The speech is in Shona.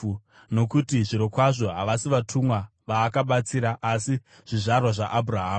Nokuti zvirokwazvo havasi vatumwa vaakabatsira, asi zvizvarwa zvaAbhurahama.